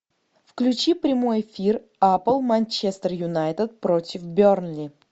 включи прямой эфир апл манчестер юнайтед против бернли